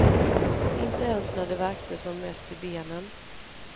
Inte ens när det värkte som mest i benen.